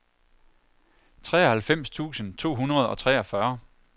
treoghalvfems tusind to hundrede og treogfyrre